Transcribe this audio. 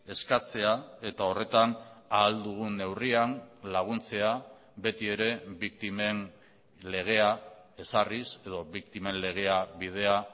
eskatzea eta horretan ahal dugun neurrian laguntzea beti ere biktimen legea ezarriz edo biktimen legea bidea